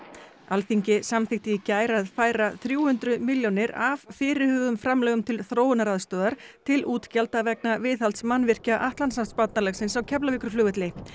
Alþingi samþykkti í gær að færa þrjú hundruð milljónir af fyrirhuguðum framlögum til þróunaraðstoðar til útgjalda vegna viðhalds mannvirkja Atlantshafsbandalagsins á Keflavíkurflugvelli